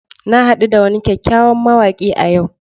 Na hadu da wani kyakkyawan mawaki a yau